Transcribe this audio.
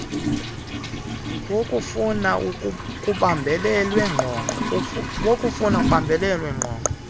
wokufana kubambelelwe ngqongqo